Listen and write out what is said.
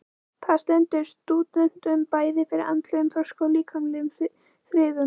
Það stendur stúdentunum bæði fyrir andlegum þroska og líkamlegum þrifum.